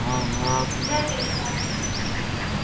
Möðrudal